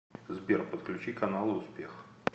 сбер подключи каналы успех